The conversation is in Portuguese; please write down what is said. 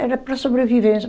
Era para sobrevivência.